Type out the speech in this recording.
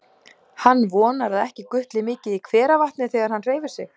Hann vonar að ekki gutli mikið í hveravatni þegar hann hreyfir sig.